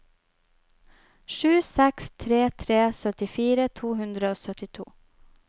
sju seks tre tre syttifire to hundre og syttito